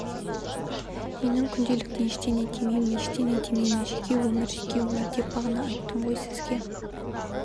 менің күнделікті ештеңе демеймін ештеңе демеймін жеке өмір жеке өмір деп бағана айттым ғой сізге